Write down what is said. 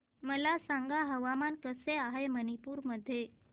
मला सांगा हवामान कसे आहे मणिपूर मध्ये